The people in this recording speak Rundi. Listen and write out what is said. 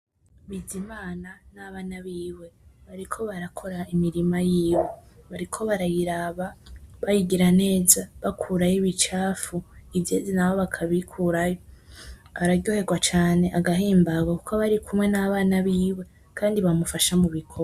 Bizimana nabana biwe bariko barakora imirima yiwe bariko barayiraba, bayigira neza ,bakurayo ibicafu ivyeze naho bakibikurayo araryoherwa cane agahimbagwa kuko aba arikumwe nabana biwe kandi bamufasha mu bikogwa.